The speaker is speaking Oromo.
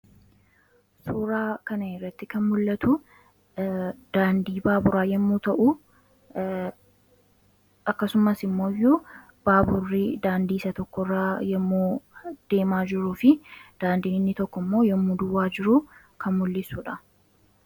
Suuraa kan iratti kan mul'atu daandii baaburaa yommuu ta'u akkasumas immoo iyyuu baaburrii daandiisa tokkoraa yommu deemaa jiruu fi daandiiinni tokko immoo yommuu duwwaa jiruu kan mul'issuudha.